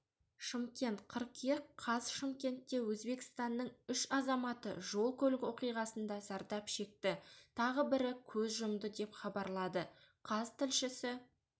шымкент қыркүйек қаз шымкентте өзбекстанның үш азаматы жол-көлік оқиғасында зардап шекті тағы бірі көз жұмды деп хабарлады қаз тілшісі